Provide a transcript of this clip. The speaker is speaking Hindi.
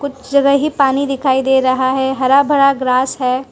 इस जगह ही पानी दिखाई दे रहा है हरा भरा ग्रास है।